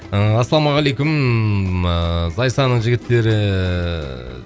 ыыы ассалаумағалейкум ыыы зайсанның жігіттері